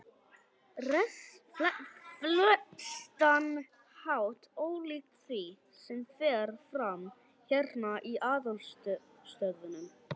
flestan hátt ólíkt því, sem fer fram hérna í aðalstöðvunum.